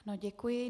Ano, děkuji.